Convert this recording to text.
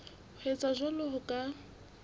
ho etsa jwalo ho ka